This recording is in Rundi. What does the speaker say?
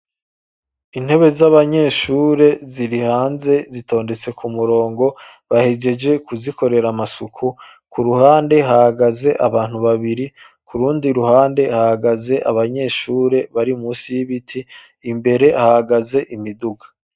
Intebe z'abanyeshure, ziri hanze, zitondetse ku murongo, bahegeje kuzikorera amasuku; ku ruhande hahagaze abantu babiri, ku rundi ruhande, hahagaze abanyeshure, bari munsi y'ibiti, imbere hahagaze imiduga.